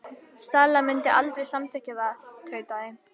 Stella mundi aldrei samþykkja það- tautaði